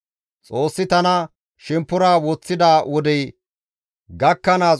Xoossi tana shemppora woththida wodey gakkanaas,